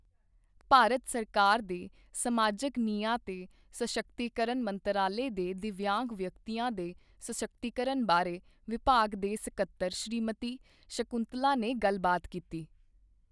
ਭਾਰਤ ਸਰਕਾਰ ਦੇ ਸਮਾਜਕ ਨਿਆਂ ਤੇ ਸਸ਼ੱਕਤੀਕਰਣ ਮੰਤਰਾਲੇ ਦੇ ਦਿਵਯਾਂਗ ਵਿਅਕਤੀਆਂ ਦੇ ਸਸ਼ੱਕਤੀਕਰਣ ਬਾਰੇ ਵਿਭਾਗ ਦੇ ਸਕੱਤਰ ਸ਼੍ਰੀਮਤੀ ਸ਼ਕੁੰਤਲਾ ਨੇ ਗੱਲ ਬਾਤ ਕੀਤੀ।